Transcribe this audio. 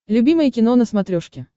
любимое кино на смотрешке